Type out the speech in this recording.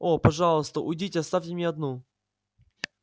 о пожалуйста уйдите оставьте меня одну